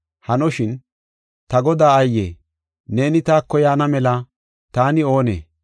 Hanoshin, ta Godaa aaye, neeni taako yaana mela taani oonee?